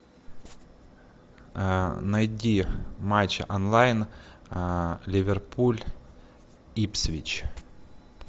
найди матч онлайн ливерпуль ипсвич